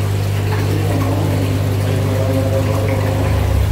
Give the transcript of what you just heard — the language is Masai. ketii ilomon iyimu iloishooyo indorropu oo ilomon